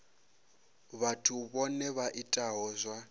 vhathu vhohe vha itaho zwa